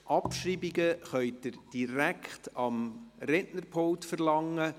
Abschreibungen können Sie direkt am Rednerpult verlangen.